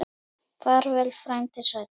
Far vel, frændi sæll.